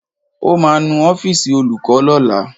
Ó ma nu ọ́fìsì Olùkó lọ́la.